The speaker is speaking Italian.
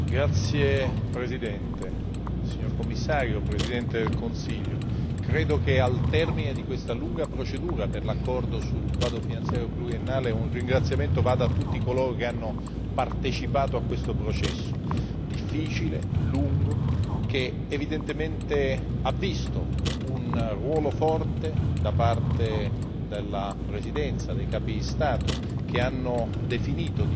Signor Presidente, signor Commissario, signor Presidente del Consiglio, credo che al termine di questa lunga procedura per l'accordo sul quadro finanziario pluriennale, un ringraziamento vada a tutti coloro che hanno partecipato a questo processo difficile e lungo, in cui hanno avuto un forte ruolo la Presidenza e i capi di Stato che hanno definito di fatto,